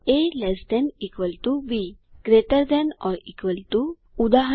A lt B greater than or equal to ઉદા